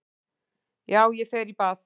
Já, ég fer í bað.